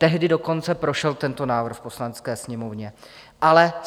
Tehdy dokonce prošel tento návrh v Poslanecké sněmovně, ale